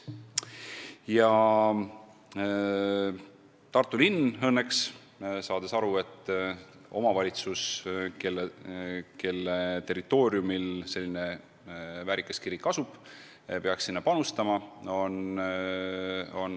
Ja Tartu linn on õnneks saanud aru, et omavalitsus, kelle territooriumil selline väärikas kirik asub, peaks sinna ka panustama.